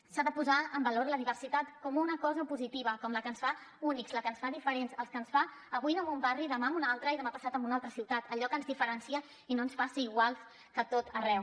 s’ha de posar en valor la diversitat com una cosa positiva com la que ens fa únics la que ens fa diferents la que ens fa avui anar en un barri demà en un altre i demà passat en una altra ciutat allò que ens diferencia i no ens fa ser iguals que a tot arreu